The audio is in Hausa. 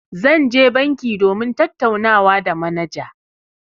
Zan je banki domin tattaunawa da manaja.